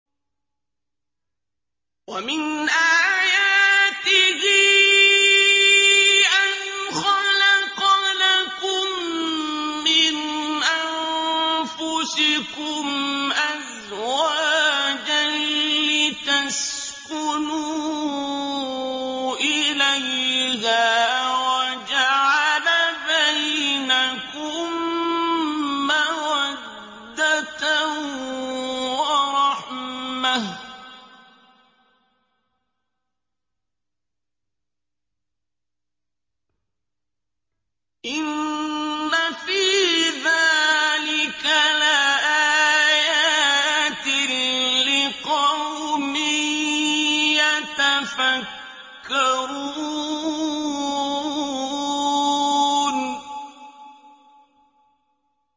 وَمِنْ آيَاتِهِ أَنْ خَلَقَ لَكُم مِّنْ أَنفُسِكُمْ أَزْوَاجًا لِّتَسْكُنُوا إِلَيْهَا وَجَعَلَ بَيْنَكُم مَّوَدَّةً وَرَحْمَةً ۚ إِنَّ فِي ذَٰلِكَ لَآيَاتٍ لِّقَوْمٍ يَتَفَكَّرُونَ